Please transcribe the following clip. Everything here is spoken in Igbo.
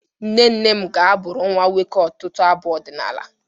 Nne nne m ga-abụrụ nnwa nwoke ọtụtụ abụ ọdịnala